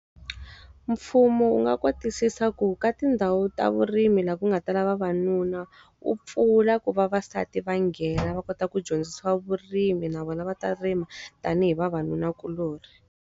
Mfumo wu nga kotisisa ku ka tindhawu ta vurimi laha ku nga tala vavanuna, wu pfula ku vavasati va nghena va kota ku dyondzisiwa vurimi na vona va ta rima, tanihi vavanunakuloni.